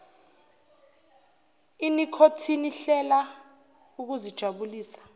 inikhothini hlela ukuzijabulisa